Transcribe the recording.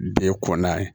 Bɛ kɔnna